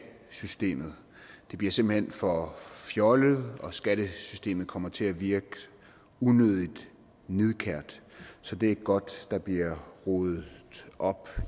bliver simpelt hen for fjollet og skattesystemet kommer til at virke unødigt nidkært så det er godt der bliver ryddet op